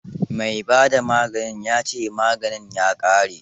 Mai ba da maganin ya ce maganin ya ƙare.